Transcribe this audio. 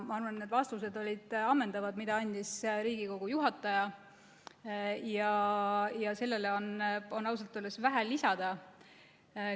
Ma arvan, et Riigikogu istungi juhataja vastused olid ammendavad ja siia on ausalt öeldes vähe midagi lisada.